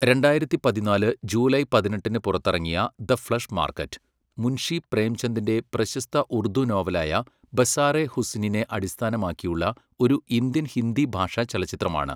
രണ്ടായിരത്തി പതിനാല് ജൂലൈ പതിനെട്ടിന് പുറത്തിറങ്ങിയ ദ ഫ്ലെഷ് മാർക്കറ്റ്, മുൻഷി പ്രേംചന്ദിൻ്റെ പ്രശസ്ത ഉർദു നോവലായ ബസാറെ ഹുസ്നിനെ അടിസ്ഥാനമാക്കിയുള്ള ഒരു ഇന്ത്യൻ ഹിന്ദി ഭാഷാ ചലച്ചിത്രമാണ്.